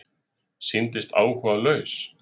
Sýndist áhugalaus.